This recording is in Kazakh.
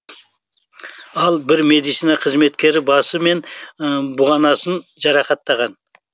ал бір медицина қызметкері басы мен бұғанасынан жарақаттанған